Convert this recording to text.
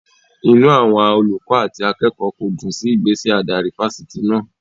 Inú àwọn olùkọ́ àti akẹ́kọ̀ọ́ kò dùn sí ìgbésẹ̀ adarí Fáṣítì náà.